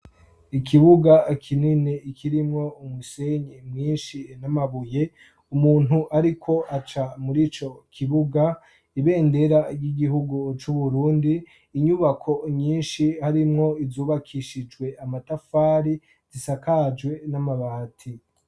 Ikibuga kinini kirimwo umusenyi mwinshi n'amabuye. Umuntu ariko aca muri ico kibuga; Ibendera ry'igihugu c'Uburundi; inyubako nyinshi harimwo izubakishijwe amatafari zisakajwe n'amabati.